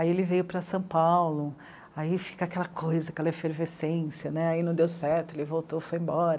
Aí ele veio para São Paulo, aí fica aquela coisa, aquela efervescência, aí não deu certo, ele voltou, foi embora.